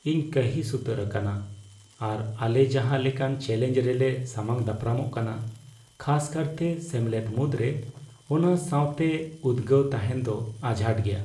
ᱤᱧ ᱠᱟᱺᱦᱤᱥ ᱩᱛᱟᱹᱨ ᱟᱠᱟᱱᱟ ᱟᱨ ᱟᱞᱮ ᱡᱟᱦᱟᱸ ᱞᱮᱠᱟᱱ ᱪᱮᱞᱮᱧᱡᱽ ᱨᱮᱞᱮ ᱥᱟᱢᱟᱝᱼᱫᱟᱯᱨᱟᱢᱚᱜ ᱠᱟᱱᱟ, ᱠᱷᱟᱥᱠᱟᱨᱛᱮ ᱥᱮᱢᱞᱮᱫ ᱢᱩᱫᱽᱨᱮ, ᱚᱱᱟ ᱥᱟᱶᱛᱮ ᱩᱫᱜᱟᱹᱣ ᱛᱟᱦᱮᱱ ᱫᱚ ᱟᱡᱷᱟᱴ ᱜᱮᱭᱟ ᱾